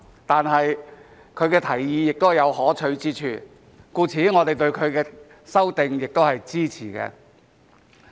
但是，他的提議也有可取之處，所以我們對他的修訂也是支持的。